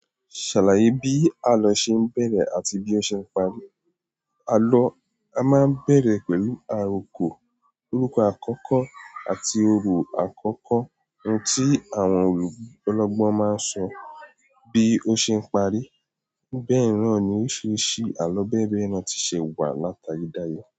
Ṣàlàyé bí àlọ́ ṣe ń bẹ̀rẹ̀ àti bí ó ṣe ń parí. Àlọ́ a máa ń bẹ̀rẹ̀ pẹ̀lú àrokò, orúkọ àkọ́kọ́ àti orò àkọ́kọ́. Ohun tí àwọn ọ́lọ́gbọ́n máa ń sọ bí ó ṣe ń parí. Bẹ́ẹ̀ náà ni, oríṣiríṣi àlọ́ bẹ́ẹ̀ bẹ́ẹ̀ lọ ti ṣe wà látayedaye.